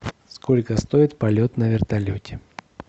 сколько стоит полет на вертолете